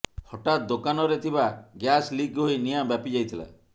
ହଠାତ୍ ଦୋକାନରେ ଥିବା ଗ୍ୟାସ୍ ଲିକ୍ ହୋଇ ନିଆଁ ବ୍ୟାପିଯାଇଥିଲା